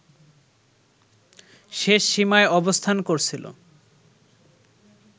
শেষ সীমায় অবস্থান করছিল